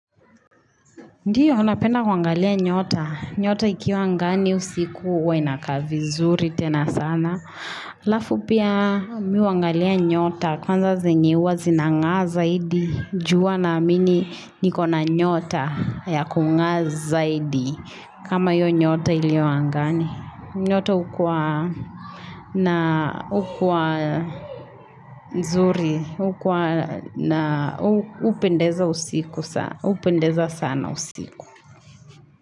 Ndiyo, napenda kuangalia nyota. Nyota ikiwa angani usiku huwa inakaa vizuri tena sana. Alafu pia mi huangalia nyota, kwanza zenye huwa zinang'aa zaidi, ju huwa naamini niko na nyota ya kung'aa zaidi. Kama hiyo nyota iliyo angani. Nyota ukuwa na ukuwa zuri, hukuwa na hupendeza usiku sana, hupendeza sana usiku.